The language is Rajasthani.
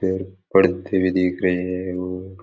पेड़ पौधे भी दीख रहे है और --